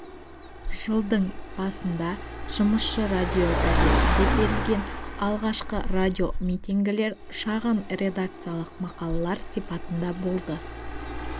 жылдың басында жұмысшы радиогазетінде берілген алғашқы радиомитингілер шағын редакциялық мақалалар сипатында болды